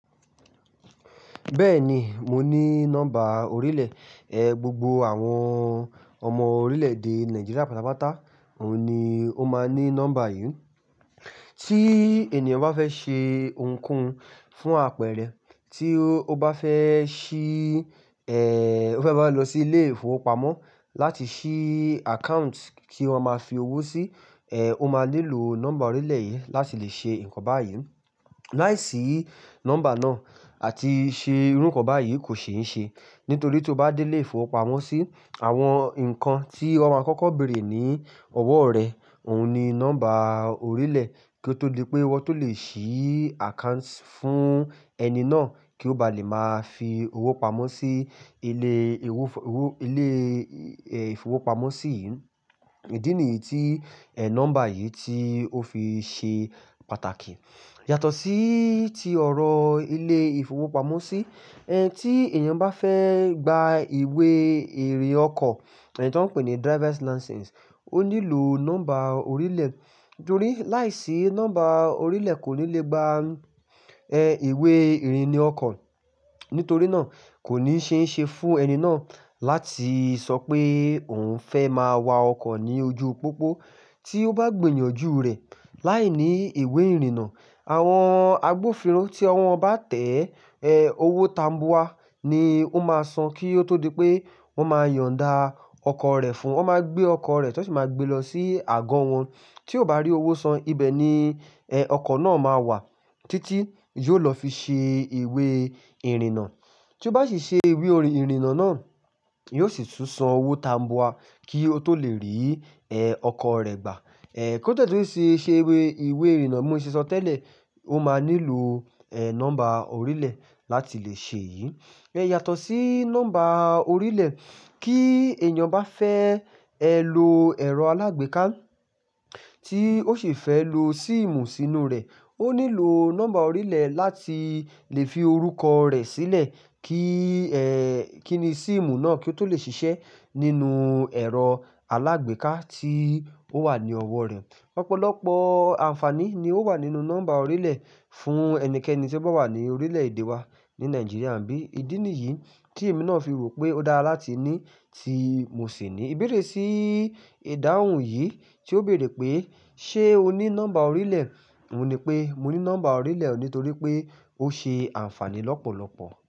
Bẹ́ẹ̀ni, mo ní nọ́mbà orílẹ̀. Ẹ̀, gbogbo àwọn ọmọ orílẹ̀-èdè Nàìjíríà pátápátá òun ni ó máa ní nọ́mbà yìí. Tí ènìyàn bá fẹ́ ṣe ohunkóhun fún àpẹẹrẹ, tí ó bá fẹ́ ṣí, ó fẹ́ bá lọ sí ilé-ìfowópamọ́ láti ṣí account kí wọ́n máa fi owó sí, ó máa nílò nọ́mbà orílẹ̀ yìí láti lè ṣe nǹkan báyìí. Láìsí nọ́mbà náà àti ṣe irú nǹkan báyìí kò ṣe é ṣe. Nítorí tí o bá dé ilé-ìfowópamọ́sí, àwọn nǹkan tí wọ́n máa kọ́kọ́ bèèrè ní ọwọ́ rẹ̀, òhun ni nọ́mbà orílẹ̀ kí ó tó di pé wọ́n tó lè ṣí account fún ẹni náà kí ó bá lè máa fi owó pamọ́ sí ilé ìfowó, ilé, ìfowópamọ́sí yìí. Ìdí nìyí tí, nọ́mbà yìí tí ó fi ṣe pàtàkì. Yàtọ̀ sí ti ọ̀rọ̀ ilé ìfowópamọ́sí, tí ènìyàn bá fẹ́ gba ìwé ìrìn ọkọ̀, èyí tí wọ́n ń pè ní driver's license, ó nílò nọ́mbà orílẹ̀. Nítorí láìsí nọ́mbà orílẹ̀ kò ní lè gba, ìwé ìrìnnà ọkọ̀. Nítorí náà kò ní ṣe é ṣe fún ẹni náà láti sọ pé òun fẹ́ máa wa ọkọ̀ ní ojúu pópó. Tí ó bá gbìyànjú rẹ̀ láìní ìwé ìrìnnà, àwọn agbófinró tí ọwọ́ wọn bá tẹ́ ẹ́, owó tambua ni ó máa san kí ó tó di pé wọ́n máa yọ̀nda ọkọ̀ rẹ̀ fún ún. Wọ́n máa gbé ọkọ̀ rẹ̀, tí wọ́n sì máa gbé lọ sí àgọ́ wọn. Tí ó bá rí owó san, ibẹ̀ ni, ọkọ̀ náà máa wà títí yóò lọ fi ṣe ìwé ìrìnnà. Tí ó bá sì ṣe ìwé ìrìnnà náà, yóò sì tún san owó tambua kí ó tó lè rí ọkọ̀ rẹ̀ gbà. Kí ó tẹ́lẹ̀ tó rí ṣe ìwé ìrìnnà, mo ṣè sọ tẹ́lẹ̀, ó máa nílò, nọ́mbà orílẹ̀ láti lè ṣe yìí. Yàtọ̀ sí nọ́mbà orílẹ̀, kí ènìyàn bá fẹ́, lo ẹ̀rọ alágbèéká tí ó sì fẹ́ lo síìmù sínú rẹ̀, ó nílò nọ́mbà orílẹ̀ láti lè fi orúkọ rẹ̀ sílẹ̀ kí, kí ni síìmù náà kí ó tó lè ṣiṣẹ́ nínú ẹ̀rọ alágbèéká tí ó wà ní ọwọ́ rẹ̀. Ọ̀pọ̀lọ̀pọ̀ àǹfààní ni ó wà nínú nọ́mbà orílẹ̀ fún ẹnikẹ́ni tí ó bá wà ní orílẹ̀-èdè wa ní Nàìjíríà. Ǹbí ìdí nìyí tí èmi náà fi rò pé ó dára láti ní tí mo sì ní. Ìbéèrè sí ìdáhùn yìí tí ó béèrè pé "ṣé o ní nọ́mbà orílẹ̀?" òun ni pé mo ní nọ́mbà orílẹ̀ nítorí pé ó ṣe àǹfààní lọ́pọ̀lọpọ̀.